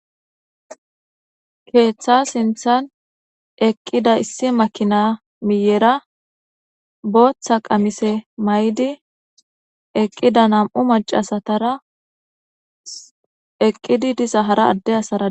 Keeththa sinthan eqqida issi makina miyera booththa qamise may'di eqqida nam'u macasatara eqqidi disa hara adde asara.